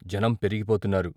జనం పెరిగిపోతున్నారు.